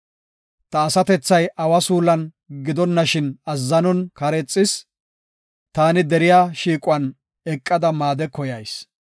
Ta asatethay awa suulon gidonashin azzanon kareexis; taani deriya shiiquwan eqada maade koyayis.